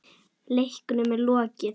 Leiknum er lokið.